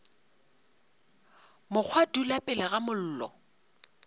mokgwa dula pele ga mollo